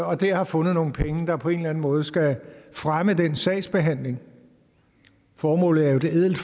og dér har fundet nogle penge der på en eller anden måde skal fremme den sagsbehandling formålet er jo ædelt